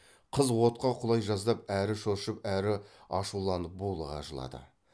қыз отқа құлай жаздап әрі шошып әрі ашуланып булыға жылады